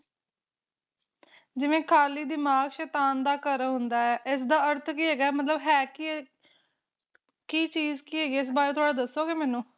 ਜਿਵੇ ਖਾਲੀ ਦਿਮਾਗ ਸ਼ੈਤਾਨ ਦਾ ਘਰ ਹੁੰਦਾ ਹੈ ਇਸ ਦਾ ਅਰਥ ਕਿ ਹੇਗਾ ਮਤਲਬ ਹੈ ਕਿ ਕਿ ਚੀਜ਼ ਕਿ ਹੇਗੀ ਆ ਇਸ ਬਾਰੇ ਥੋੜਾ ਦੱਸੋਗੇ ਮੈਨੂੰ